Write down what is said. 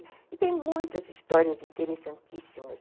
E tem muitas histórias interessantíssimas.